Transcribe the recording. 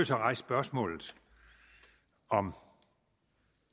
så rejse spørgsmålet om